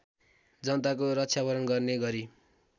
जनताको रक्षावरण गर्ने गरी